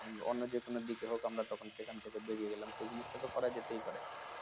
অন্য যে কোনো দিকে হোক আমরা তখন বেরিয়ে গেলাম সে জিনিসটা তো করা যেতেই পারে